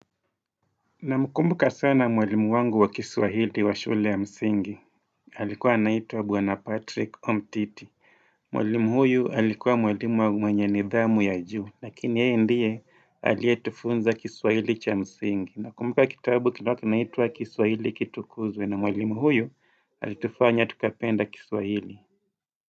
Namkumbuka sana mwalimu wangu wa kiswahili wa shule ya msingi alikuwa naitwa bwana patrick omtiti Mwalimu huyu alikuwa mwalimu wa mwenye nidhamu ya juu Lakini yeye ndiye aliyetufunza kiswahili cha msingi Nakumbuka kitabu kilikiwa kinaitwa kiswahili kitukuzwe na mwalimu huyu alitufanya tukapenda kiswahili.